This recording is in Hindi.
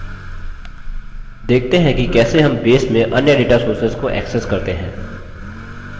देखते हैं कि कैसे हम base में अन्य data sources data sources को access करते हैं